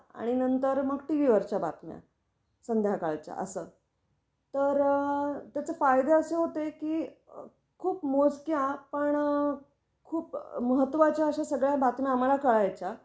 आणि नंतर मग टीव्ही वरच्या बातम्या, संध्याकाळच्या अस तर अ त्याचे फायदे असे होते की खूप मोजक्या पण खूप महत्त्वाच्या अश्या सगळ्या बातम्या आम्हाला कळायच्या.